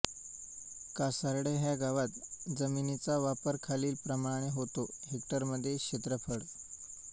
कासार्डे ह्या गावात जमिनीचा वापर खालीलप्रमाणे होतो हेक्टरमध्ये क्षेत्रफळ